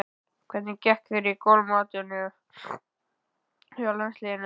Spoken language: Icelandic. Hvernig gekk þér í golfmótinu hjá landsliðinu?